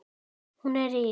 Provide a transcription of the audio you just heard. Hún er rík.